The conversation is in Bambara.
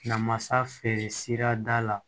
Namasa feere sira da la